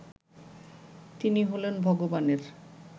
তিনি হলেন ভগবানের